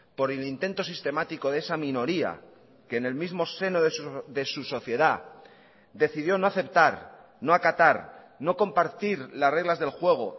por el intento sistemático de esa minoría que en el mismo seno de su sociedad decidió no aceptar no acatar no compartir las reglas del juego